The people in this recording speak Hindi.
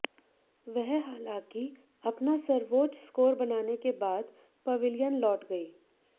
वह हालांकि अपना सर्वोच्च स्कोर बनाने के बाद पविलियन लौट गई